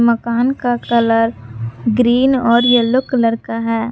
मकान का colour green और येलो कलर का है।